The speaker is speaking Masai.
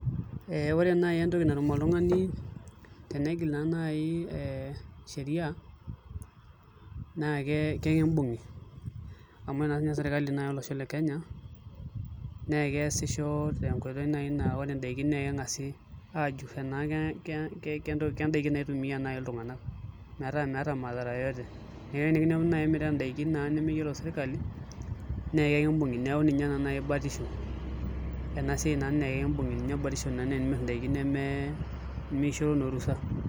Ee ore nai entoki natum oltung'ani tenegil naa nai ee sheria naake kekimbung'i amu naa siinye serkali naa olosho le kenya, nee keesisho te nkoitoi nai naa ore ndaikin nee keng'asi ajur enake ke ke kentoki kendaiki naitumia nai iltung'anak metaa meeta madhara yeyote. Metaa enekinepuni nai imirita ndaikin naa nemeyiolo serkali nee kekimbung'i. Neeku ninye naa nai batisho ena siai naa ninye kimbung'i ninye batisho naa enimir ndaikin neme nemishoro naa orusa.